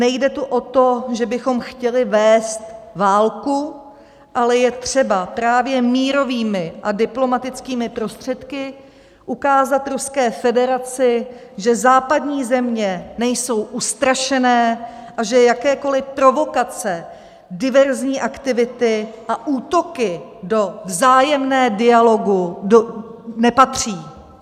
Nejde tu o to, že bychom chtěli vést válku, ale je třeba právě mírovými a diplomatickými prostředky ukázat Ruské federaci, že západní země nejsou ustrašené a že jakékoli provokace, diverzní aktivity a útoky do vzájemného dialogu nepatří.